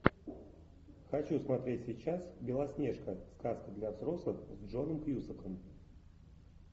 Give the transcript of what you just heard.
хочу смотреть сейчас белоснежка сказка для взрослых с джоном кьюсаком